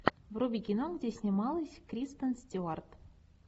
вруби кино где снималась кристен стюарт